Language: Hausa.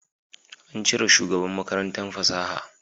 An cire shugaban Makarantar fasaha